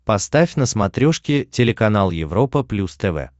поставь на смотрешке телеканал европа плюс тв